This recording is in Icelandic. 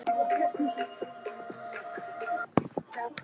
Hann skipar í leitir.